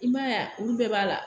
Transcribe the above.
I m'a ye a olu bɛɛ b'a la